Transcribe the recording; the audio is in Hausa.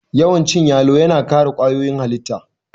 Yawan cin yalo yana kare kwayoyin halitta